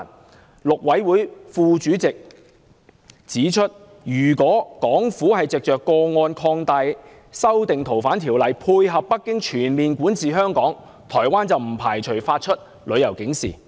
台灣陸委會副主席指出，如果港府藉着個案擴大《條例》下的移交範圍，以配合北京全面管治香港，台灣不排除會發出旅遊警示。